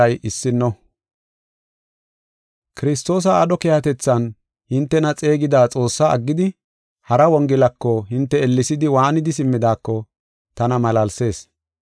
Kiristoosa aadho keehatethan hintena xeegida Xoossaa aggidi, hara Wongelako, hinte ellesidi, waanidi simmidaako tana malaalsees.